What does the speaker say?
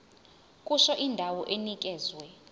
kusho indawo enikezwe